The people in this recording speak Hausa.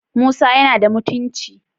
Musa yana da mutunci?